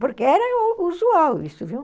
Porque era usual isso, viu?